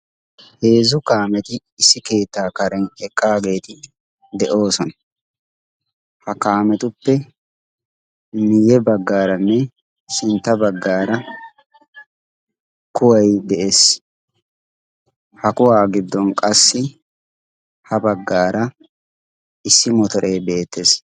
Heezzu kaameti issi keettaa karen eqqaageeti de'oosona. ha kaametuppe miyye baggaaranne sintta baggaara kuwai de'ees. ha kuwaa giddon qassi ha baggaara issi motoree beettees.